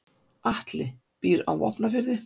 Atli býr á Vopnafirði.